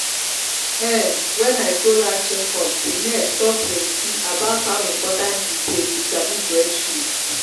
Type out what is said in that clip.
um when i go last check up the nurse talk plenti about how important e day to sabi breastfeed.